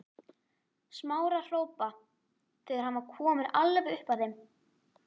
Smára hrópa þegar hann var kominn alveg upp að þeim.